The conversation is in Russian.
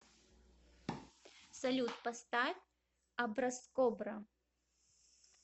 салют поставь образкобра